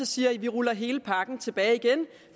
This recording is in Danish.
siger at vi ruller hele pakken tilbage igen